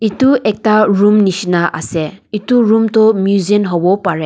etu ekta room nishina ase etu room tho museum hobo parae.